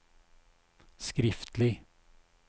skriftlig